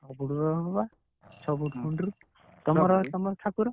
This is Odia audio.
ଛଅ foot ର ହବ ବା, ତମର ଠାକୁର।